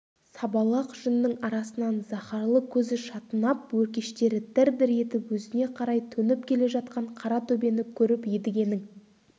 сабалақ жүннің арасынан заһарлы көзі шатынап өркештері дір-дір етіп өзіне қарай төніп келе жатқан қара төбені көріп едігенің